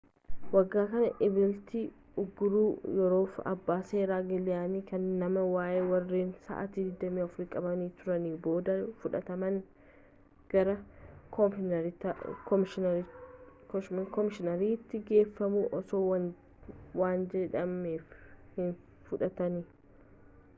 waggaa kana eblatti uuguurri yeroofi abbaa seeraa gilaayiniin kennamee waa'ee warreen sa'aatii 24 f qabamanii turaaniin booda fudhaatamuun gara koomishinaariitti geeffamuun osoo waan jedhamee hin fudhatiin